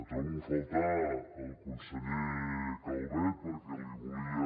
trobo a faltar el conseller calvet perquè li volia